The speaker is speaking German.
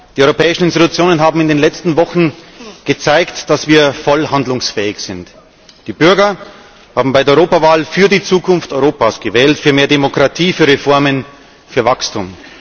Die europäischen Institutionen haben in den letzten Wochen gezeigt, dass wir voll handlungsfähig sind. Die Bürger haben bei der Europawahl für die Zukunft Europas gewählt, für mehr Demokratie, für Reformen, für Wachstum.